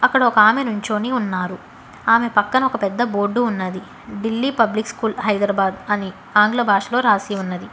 ఇక్కడ ఒకామె నుంచోని ఉన్నారు ఆమె పక్కన ఒక పెద్ద బోర్డు ఉన్నది ఢిల్లీ పబ్లిక్ స్కూల్ హైదరాబాద్ అని ఆంగ్ల భాషలో రాసి ఉన్నది.